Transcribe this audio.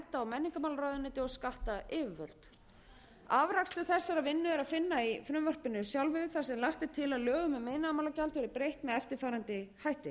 menningarmálaráðuneyti og skattyfirvöld afrakstur þessarar vinnu er að finna í frumvarpinu sjálfu þar sem lagt er til að lögum um iðnaðarmálagjald verði breytt með eftirfarandi hætti